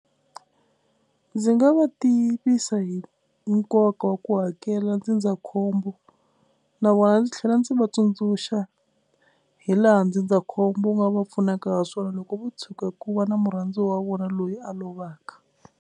Ndzi nga va tivisa hi nkoka wa ku hakela ndzindzakhombo na vona ndzi tlhela ndzi va tsundzuxa hi laha ndzindzakhombo wu nga va pfunaka ha swona loko vo tshuka ku va na murhandziwa wa vona loyi a lovaka.